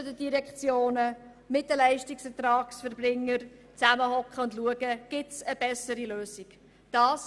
Man muss mit den beteiligten Direktionen und mit den Leistungserbringern zusammensitzen und schauen, ob es eine bessere Lösung gibt.